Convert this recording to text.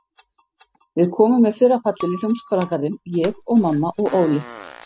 Við komum með fyrra fallinu í Hljómskálagarðinn, ég og mamma og Óli.